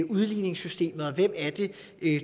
udligningssystemet og hvem